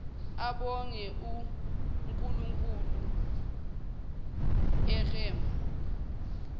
abonge unkulunkulu ekum